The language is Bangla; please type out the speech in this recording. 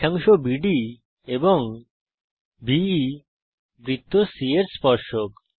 রেখাংশ বিডি এবং বে বৃত্ত c এর স্পর্শক